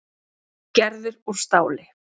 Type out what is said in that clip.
Gerður úr stáli.